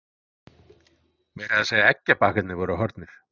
Meira að segja eggjabakkarnir voru horfnir.